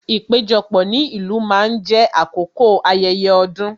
Ìpéjọpọ̀ ní ìlú máa ń jé àkókò ayẹyẹ ọdún